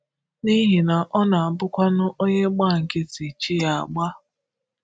N’ihi na ọ na-abụkwanụ onye gbà nkịtì, chi ya ágbà.